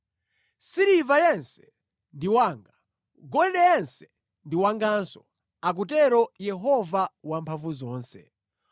‘Siliva yense ndi wanga, golide yense ndi wanganso,’ akutero Yehova Wamphamvuzonse.